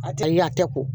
A tɛ ye a tɛ ko